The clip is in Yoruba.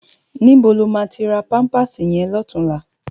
Nibó ló má ti rá pàmpásí yèn lòtúnlá?